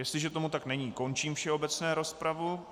Jestliže tomu tak není, končím všeobecnou rozpravu.